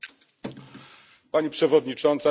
Pani Przewodnicząca, szanowni Państwo!